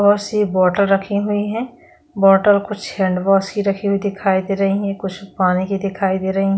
बहोत सी बॉटल रखी हुई है बॉटल कुछ हैंड वाश की दिखाई दे रही है कुछ पानी की दिखाई दे रहे हैं।